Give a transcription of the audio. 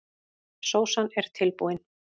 Sósan er tilbúin.